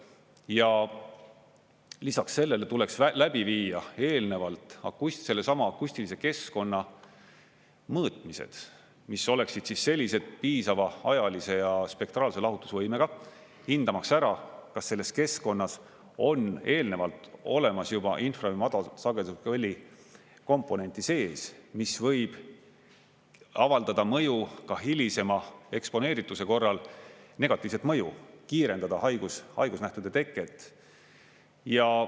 Ja lisaks sellele tuleks läbi viia eelnevalt sellesama akustilise keskkonna mõõtmised, mis oleksid sellised piisava ajalise ja spektraalse lahutusvõimega, hindamaks ära, kas selles keskkonnas on eelnevalt olemas juba infra‑ ja madalsagedusliku heli komponenti sees, mis võib avaldada mõju ka hilisema eksponeerituse korral, negatiivset mõju, kiirendada haigusnähtude teket.